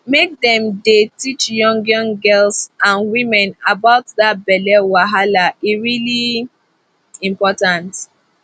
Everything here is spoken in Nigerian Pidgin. make dem dey teach young young girls and women about that belly wahala e really important